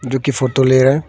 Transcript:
जो की फोटो ले रहा है।